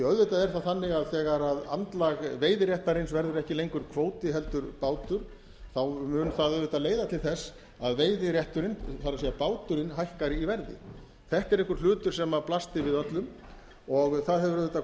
auðvitað er það þannig að þegar andlag veiðiréttarins verður ekki lengur kvóti heldur bátur þá mun það auðvitað leiða til þess að veiðirétturinn það er báturinn hækkar í verði þetta er einhver hlutur sem blasti við öllum og það hefur auðvitað